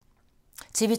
TV 2